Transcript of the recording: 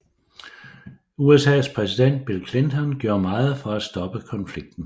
USAs præsident Bill Clinton gjorde meget for at stoppe konflikten